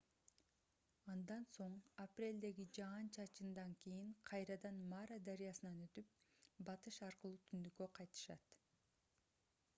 андан соң апрелдеги жаан-чачындан кийин кайрадан мара дарыясынан өтүп батыш аркылуу түндүккө кайтышат